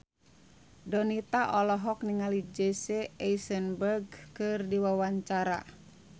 Donita olohok ningali Jesse Eisenberg keur diwawancara